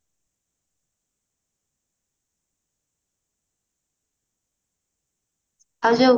ଆଉ ଯୋଉ